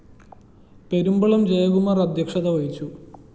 പെരുമ്പളം ജയകുമാര്‍ അദ്ധ്യക്ഷത വഹിച്ചു